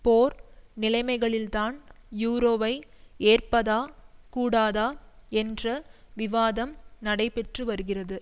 போர் நிலைமைகளில்தான் யூரோவை ஏற்பதா கூடாதா என்ற விவாதம் நடைபெற்றுவருகிறது